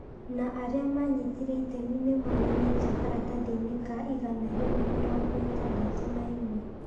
na arĩa manyitire itemi nĩ moonanĩtio karatathi-inĩ ka igana rĩmwe mĩrongo ĩtandatũ na ĩmwe ,